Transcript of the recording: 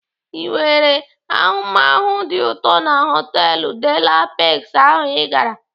Ị nwere ahụmahụ dị ụtọ na họtelu De la Pex ahụ I gara?